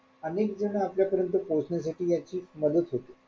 अनेक जण आपल्या परियंत पोहोचण्यासाठी याची मदत होते.